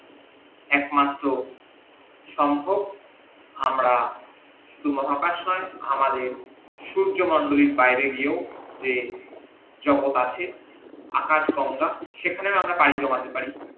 একমাত্র সম্ভব আমরা শুধু মহাকাশ নই আমাদের সূর্যমন্ডলীর বাইরে গিয়ে যে জগত আছে আকাশ গঙ্গা সেখানে আমরা পারি জমাতে পারি